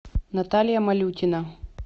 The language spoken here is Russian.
наталья малютина